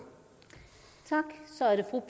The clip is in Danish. og